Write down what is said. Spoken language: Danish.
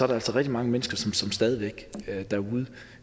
der rigtig mange mennesker som stadig væk